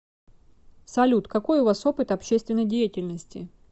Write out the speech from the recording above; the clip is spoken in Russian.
салют какой у вас опыт общественной деятельности